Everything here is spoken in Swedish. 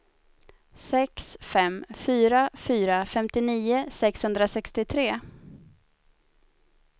sex fem fyra fyra femtionio sexhundrasextiotre